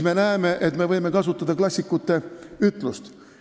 Me näeme, et võib kasutada ühte klassiku ütlust.